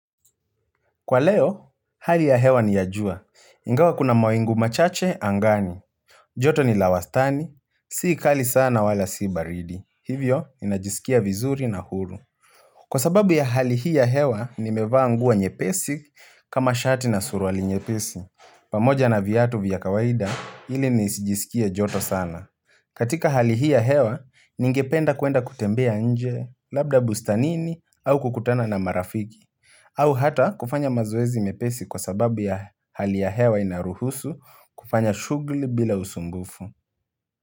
Kwa leo, hali ya hewa niya jua. Ingawa kuna mawingu machache angani. Joto ni lawastani, siikali sana wala si baridi. Hivyo, inajisikia vizuri na huru. Kwa sababu ya hali hii ya hewa ni mevanguo nyepesi kama shati na suruali nyepesi pamoja na viyatu vya kawaida ili nisijisikia joto sana katika hali hii ya hewa ni ingependa kuenda kutembea nje labda bustanini au kukutana na marafiki au hata kufanya mazoezi mepesi kwa sababu ya hali ya hewa inaruhusu kufanya shugli bila usumbufu.